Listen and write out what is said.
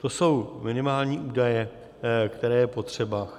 To jsou minimální údaje, které je potřeba.